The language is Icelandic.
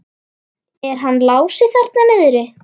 Er hann Lási þarna niðri?